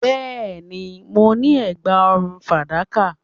Yes, I have a silver necklace